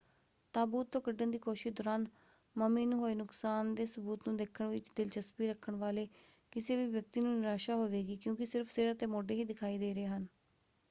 ਤਾਬੂਤ ਤੋਂ ਕੱਢਣ ਦੀ ਕੋਸ਼ਿਸ਼ ਦੌਰਾਨ ਮਮੀ ਨੂੰ ਹੋਏ ਨੁਕਸਾਨ ਦੇ ਸਬੂਤ ਨੂੰ ਦੇਖਣ ਵਿੱਚ ਦਿਲਚਸਪੀ ਰੱਖਣ ਵਾਲੇ ਕਿਸੇ ਵੀ ਵਿਅਕਤੀ ਨੂੰ ਨਿਰਾਸ਼ਾ ਹੋਵੇਗੀ ਕਿਉਂਕਿ ਸਿਰਫ਼ ਸਿਰ ਅਤੇ ਮੋਢੇ ਹੀ ਦਿਖਾਈ ਦੇ ਰਹੇ ਹਨ।